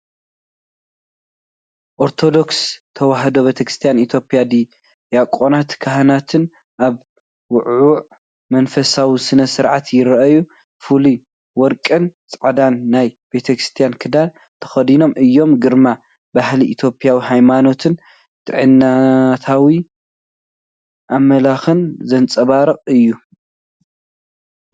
ኦርቶዶክስ ተዋህዶ ቤተክርስቲያን ኢትዮጵያ ዲያቆናትን ካህናትን ኣብ ውዕዉዕ መንፈሳዊ ስነ-ስርዓት ይረኣዩ። ፍሉይ ወርቅን ጻዕዳን ናይ ቤተክርስትያን ክዳን ተኸዲኖም እዮም። ግርማ ባህሊ ኢትዮጵያ፣ ሃይማኖትን ጥንታዊ ኣምልኾን ዘንጸባርቕ እዩ።